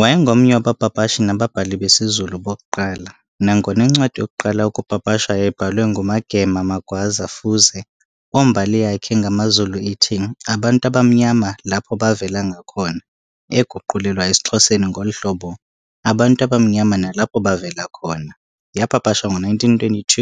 Wayengomnye wabapapashi nababhali besiZulu bokuqala, nangona incwadi yokuqala ukupapashwa yayibhalwe nguMagema Magwaza Fuze, ombali yakhe ngamaZulu ithi, "Abantu abamnyama lapo bavela ngakona", eguqulelwa esiXhoseni ngolu hlobo,"Abantu abamnyama nalapho bavela khona", yapapashwa ngo-1922,